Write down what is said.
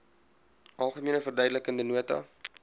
algemene verduidelikende nota